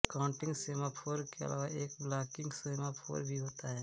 counting semaphore के अलावा एक ब्लॉकिंग सेमाफोर भी होता है